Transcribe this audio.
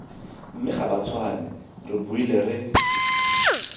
mme gabatshwane re boile re